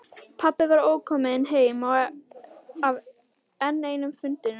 Pabbi var ókominn heim af enn einum fundinum.